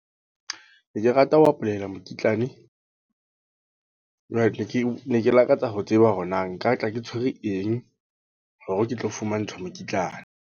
Ke rata ho apply-ela mokitlane. Jwale ne ke ne ke lakatsa ho tseba hore na nka tla ke tshwere eng? Hore ke tlo fumantshwa mokitlane.